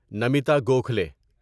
Namita Gokhale